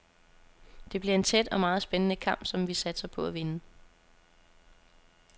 Det bliver en tæt og meget spændende kamp, som vi satser på at vinde.